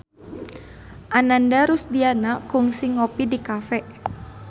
Ananda Rusdiana kungsi ngopi di cafe